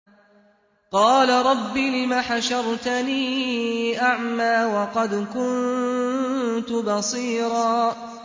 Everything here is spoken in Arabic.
قَالَ رَبِّ لِمَ حَشَرْتَنِي أَعْمَىٰ وَقَدْ كُنتُ بَصِيرًا